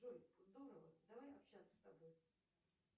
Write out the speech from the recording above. джой здорово давай общаться с тобой